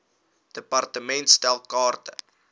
department stel kaarte